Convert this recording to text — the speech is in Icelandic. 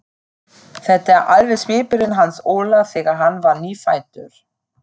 Þetta er alveg svipurinn hans Óla þegar hann var nýfæddur.